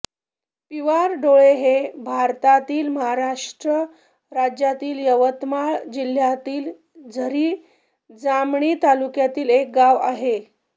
पिवारडोळ हे भारतातील महाराष्ट्र राज्यातील यवतमाळ जिल्ह्यातील झरी जामणी तालुक्यातील एक गाव आहे